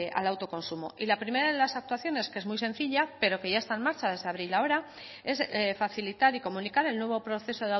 al autoconsumo y la primera de las actuaciones que es muy sencilla pero que ya está en marcha desde abril a ahora es facilitar y comunicar el nuevo proceso